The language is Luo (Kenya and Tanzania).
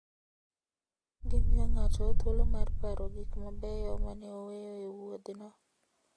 Gimiyo ng'ato thuolo mar paro gik mabeyo ma ne oweyo e wuodhno.